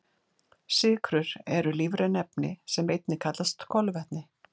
Sykrur eru lífræn efni sem einnig kallast kolvetni.